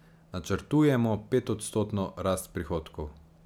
Načrtujemo petodstotno rast prihodkov.